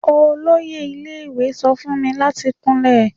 Oloye ile-iwe sọ fun mi lati kunlẹ